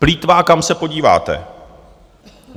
Plýtvá, kam se podíváte.